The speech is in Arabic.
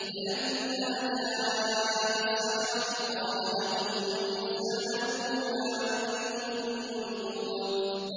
فَلَمَّا جَاءَ السَّحَرَةُ قَالَ لَهُم مُّوسَىٰ أَلْقُوا مَا أَنتُم مُّلْقُونَ